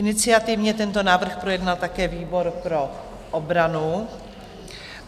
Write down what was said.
Iniciativně tento návrh projednal také výbor pro obranu.